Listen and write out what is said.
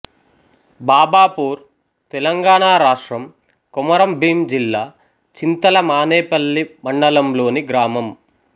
బాబాపూర్ తెలంగాణ రాష్ట్రం కొమరంభీం జిల్లా చింతల మానేపల్లి మండలంలోని గ్రామం